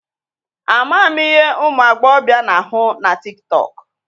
A maghị m ihe ụmụ agbọbịa na-ahụ na tiktọọkụ.